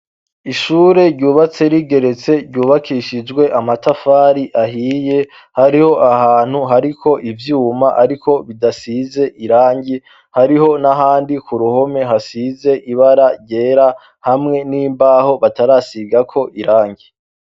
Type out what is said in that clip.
Ishure ryubatse rigeretse ryubakishijwe amatafari ahiye hariho ahantu hariko ivyuma, ariko bidasize irange hariho n'ahandi ku ruhome hasize ibara ryera hamwe n'imbaho batarasigako irange.